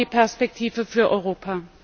Wir brauchen die Perspektive für Europa!